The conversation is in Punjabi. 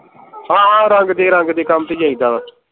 ਹਾਂ ਹਾਂ ਰੰਗ ਦੇ ਰੰਗ ਦੇ ਕੱਮ ਤੇ ਜਾਈਦਾ